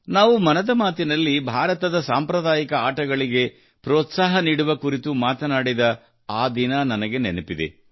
ನಾವು ಮನದ ಮಾತಿನಲ್ಲಿ ಭಾರತದ ಸಾಂಪ್ರದಾಯಿಕ ಆಟಗಳಿಗೆ ಪ್ರೋತ್ಸಾಹ ನೀಡುವ ಕುರಿತು ಮಾತನಾಡಿದ ಆ ದಿನ ನನಗೆ ನೆನಪಿದೆ